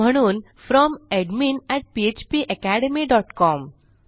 म्हणून From admin phpacademycom